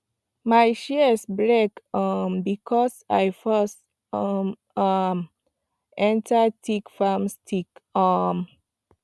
my shears break um because i force um am enter thick palm stick um